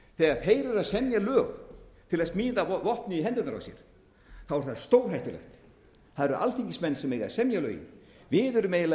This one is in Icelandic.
semja lög til að smíða vopn í hendurnar á sér þá er það stórhættulegt það eru alþingismenn sem eiga að semja lögin við erum eiginlega